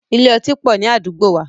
Ilé otí pọ̀ ní àdúgbò wa.